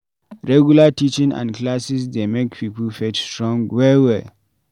Regular teaching and classes dey make pipo faith strong well well